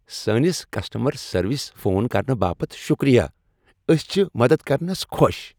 سٲنس کسٹمر سروسس فون کرنہٕ باپت شُکریہ۔ أسۍ چھِ مدد كرنس خوش ۔